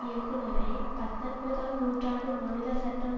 இயக்குனரை பத்தொன்பதாம் நூற்றாண்டு மாநில சட்டம்